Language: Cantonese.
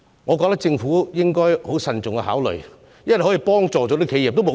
我覺得政府應該慎重考慮這項可以幫助企業的建議。